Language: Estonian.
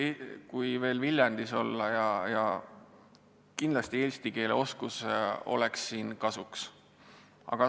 Eriti Viljandis oleks eesti keele oskus kindlasti kasuks.